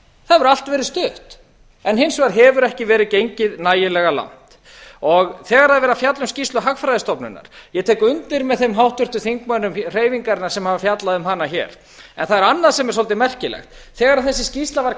það hefur allt verið stutt hins vegar ekki verið gengið nægilega langt þegar er verið að fjalla um skýrslu hagfræðistofnunar ég tek undir með þeim háttvirtum þingmönnum hreyfingarinnar sem hafa fjallað um hana hér en það er annað sem er svolítið merkilegt þegar þessi skýrsla var